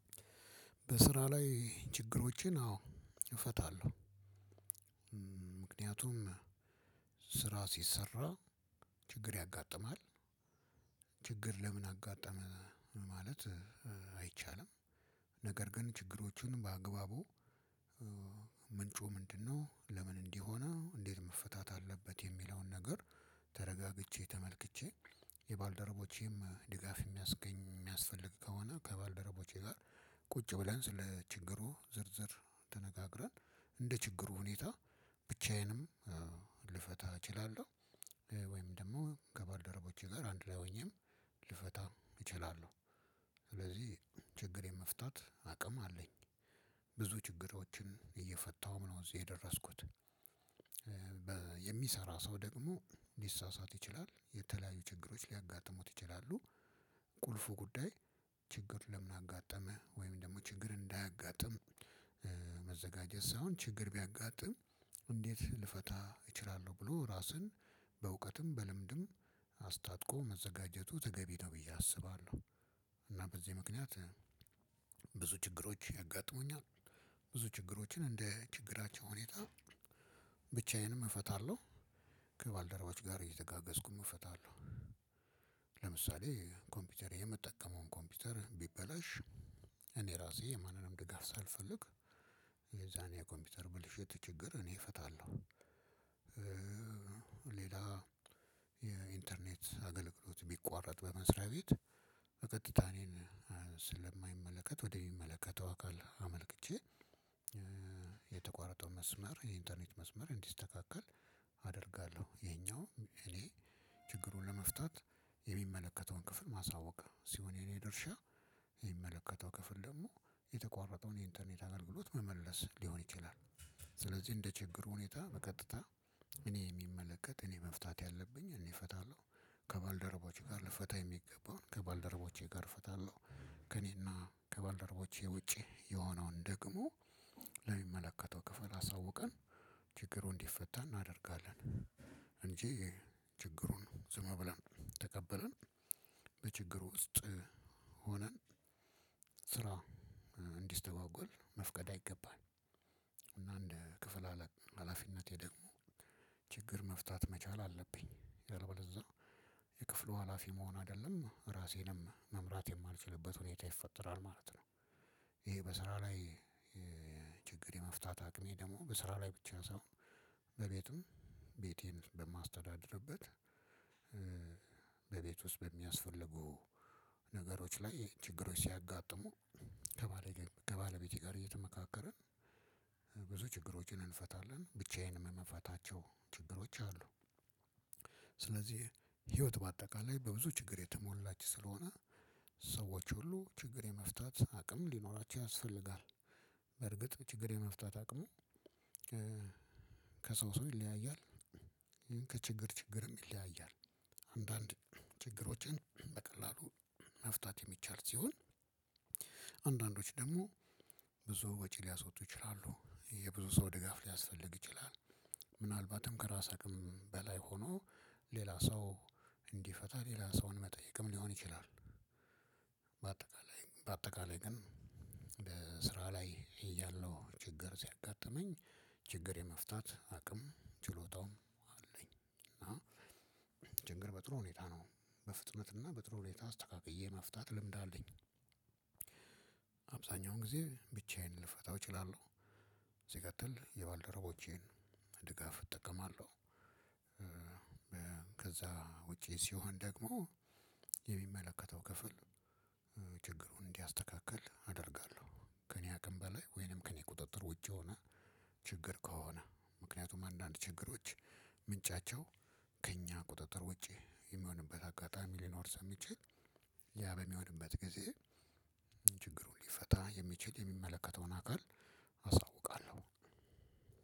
በስራ ላይ ችግሮችን አዎ እፈታለሁ። ምክንያቱም ስራ ስሰራ ችግር ያጋጥማል። ችግር ለምን አጋጠመ ማለት አይቻልም። ነገር ግን ችግሮቹን በአግባቡ ምንጩ ምንድነው ለምን እንዲህ ሆነ እንዴት መፈታት አለበት የሚለውን ነገር ተረጋግቼ ተመልክቼ የባልደረቦቼም ድጋፍ የሚያስገኝ የሚያስፈልግ ከሆነ ከባልደረቦቼ ጋር ቁጭ ብለን ስለ ችግሩ ዝርዝር ተነጋግረን እንደ ችግሩ ሁኔታ ብቻዬንም ልፈታ እችላለሁ። ወይም ደግሞ ከባልደረቦቼ ጋር አንድ ላይ ሆኜም ልፈታ እችላለሁ። ስለዚህ ችግር የመፍታት አቅም አለኝ ብዙ ችግሮችን እየፈታሁ ነው እዚህ የደረስኩት። የሚሰራ ሰው ደግሞ ልሳሳት ይችላል የተለያዩ ችግሮች ሊያጋጥሙት ይችላሉ። ቁልፉ ጉዳይ ችግር ለምን አጋጠመ ወይም ደግሞ ችግር እንዳያጋጥምህ መዘጋጀት ሳይሆን ችግር ቢያጋጥም እንዴት ልፈታ እችላለሁ ብሎ ራስን በእውቀትም በልምድም አስታጥቆ መዘጋጀቱ ተገቢ ነው ብዬ አስባለሁ። በዚህ ምክንያት ብዙ ችግሮች ያጋጥሙኛል። ብዙ ችግሮችን እንደ ችግራቸው ሁኔታ ብቻዬንም እፈታለሁ ከባልደረቦቼ ጋር እየተጋገዝኩኝ እፈታለሁ። ለምሳሌ ኮምፒውተር የምትጠቀመውን ኮምፒውተር ብበላሽ እኔ እራሴ የማንንም ድጋፍ ሳልፈልግ የዛኔ የኮምፒውተር ብልሽት ችግር እኔ እፈታለሁ። ሌላ የኢንተርኔት አገልግሎት ቢቋረጥ በመስሪያ ቤት በቀጥታ እኔን ስለማይመለከት ወደሚመለከተው አካል አመልክቼ። የተቋረጠው መስመር የኢንተርኔት መስመር እንዲስተካከል አደርጋለሁ። የኛው እኔ ችግሩን ለመፍታት የሚመለከተውን ክፍል ማሳወቅ ስሆን የኔ ድርሻ የሚመለከተው ክፍል ደግሞ የተቋረጠውን የኢንተርኔት አገልግሎት መመለስ ልሆን ይችላል። ስለዚህ እንደ ችግሩ ሁኔታ በቀጥታ እኔ የሚመለከት እኔ መፍታት ያለብኝ እኔ እፈታለሁ። ከባልደረቦቼ ጋር ልፈታ የሚገባውን ከባልደረቦቼ ጋር ፌታለሁ። ከእኔና ከባልደረቦቼ ውጪ የሆነውን ደግሞ ለሚመለከተው ክፍል አሳውቀን ችግሩ እንዲፈታ እናደርጋለን። እንጂ ችግሩን ዝም ብለን ተቀብለን በችግሩ ውስጥ ሆነን ስራ እንዲስተጓጎል መፍቀድ አይገባም። እንደ ክፍል ሀላፊነቴ ደግሞ ችግር መፍታት መቻል አለብኝ ካለበለዝያ የክፍሉ ሀላፊ መሆን አይደለም እራሴንም መምራት የማልችልበት ሁኔታ ይፈጠራል ማለት ነው። ይሄ በስራ ላይ ችግር የመፍታት አቅሜ ደግሞ በስራ ላይ ብቻ ሳይሆን በቤትም ቤቴን በማስተዳድርበት በቤት ውስጥ በሚያስፈልጉ ነገሮች ላይ ችግሮች ሲያጋጥሙ ከባለቤቴ ጋር እየተመካከርን ብዙ ችግሮችን እንፈታለን ብቻዬንም የምፈታቸው ችግሮች አሉ። ስለዚህ ህይወት በአጠቃላይ በብዙ ችግር የተሞላች ስለሆነ ሰዎች ሁሉ ችግር የመፍታት አቅም ሊኖራቸው ያስፈልጋል። በርግጥ ችግር የመፍታት አቅሙ ከሰው ሰው ይለያያል። ከችግር ችግርም ይለያያል። አንዳንድ ችግሮችን በቀላሉ መፍታት የሚቻል ሲሆን አንዳንዶች ደግሞ ብዙ ወጪ ልያስወጡ ይችላሉ የብዙ ሰው ድጋፍ ሊያስፈልግ ይችላል። ምናልባትም ከራስ አቅም በላይ ሆኖ ሌላ ሰው እንዲፈታ ሌላ ሰውን መጠየቅም ልሆን ይችላል። በአጠቃላይ ግን ስራ ላይ እያለው ችግር ሲያጋጥመኝ ችግር የመፍታት አቅም ችሎታውም አለኝ እና ችግር በጥሩ ሁኔታ ነው። በፍጥነትና በጥሩ ሁኔታ አስተካክዬ መፍታት ልምድ አለኝ። አብዛኛውን ጊዜ ብቻዬን ልፈታው እችላለሁ ስቀጥል የባልደረቦቼን ድጋፍ እጠቀማለሁ። ከዛ ውጪ ስሆን ደግሞ የሚመለከተው ክፍል እንዲያስተካክል አደርጋለሁ። ከእኔ ሀቅም በላይ ወይንም ከእኔ ቁጥጥር ውጪ የሆነ ችግር ከሆነ ምክንያቱም አንዳንድ ችግሮች ምንጫቸው ከእኛ ቁጥጥር ውጪ የሚሆንበት አጋጣሚ ልኖር ስለምችል ያ በሚሆንበት ጊዜ ችግሩን ልፈታ የሚችል የሚመለከተውን አካል አሳውቃለሁ።